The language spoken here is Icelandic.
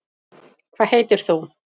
hvað heitir þú